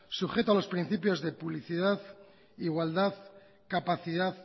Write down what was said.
sujeto a los principios de publicidad igualdad capacidad